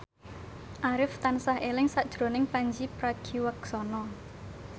Arif tansah eling sakjroning Pandji Pragiwaksono